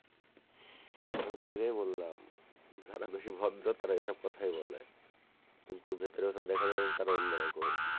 আমি তো আগেই বললাম যারা বেশি ভদ্র তারা সব কথাই বলে কিন্তু ভিতরে এসে দেখা যায় যে তারা অন্য রকম,